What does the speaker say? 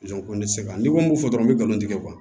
ko ne tɛ se ka n ko fɔ dɔrɔn n bɛ nkalon tigɛ